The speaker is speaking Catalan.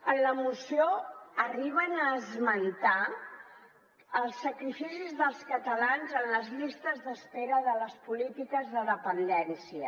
en la moció arriben a esmentar els sacrificis dels catalans en les llistes d’espera de les polítiques de dependència